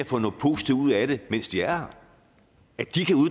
få noget positivt ud af det mens de er